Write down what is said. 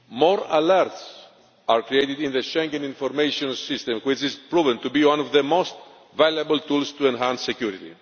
More alerts are created in the Schengen Information System, which has proven to be one of the most valuable tools to enhance security.